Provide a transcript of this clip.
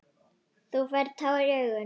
Þú færð tár í augun.